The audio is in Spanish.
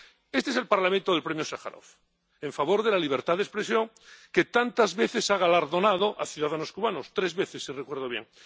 Este es el Parlamento del Premio Sájarov en favor de la libertad de expresión, que tantas veces ha galardonado a ciudadanos cubanos —tres veces, si recuerdo bien—.